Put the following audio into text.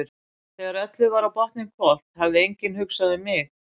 Þegar öllu var á botninn hvolft hafði enginn hugsað um mig.